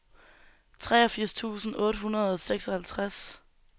treogfirs tusind otte hundrede og seksoghalvtreds